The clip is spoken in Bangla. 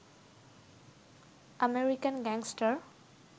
American gangster